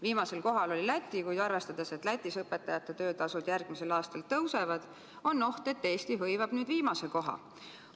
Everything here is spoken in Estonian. Viimasel kohal oli Läti, kuid arvestades seda, et Lätis õpetajate töötasud järgmisel aastal tõusevad, on oht, et Eesti hõivab ise viimase koha.